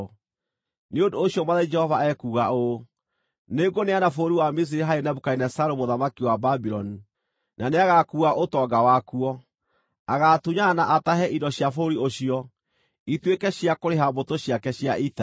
Nĩ ũndũ ũcio Mwathani Jehova ekuuga ũũ: Nĩngũneana bũrũri wa Misiri harĩ Nebukadinezaru mũthamaki wa Babuloni, na nĩagakuua ũtonga wakuo. Agaatunyana na atahe indo cia bũrũri ũcio, ituĩke cia kũrĩha mbũtũ ciake cia ita.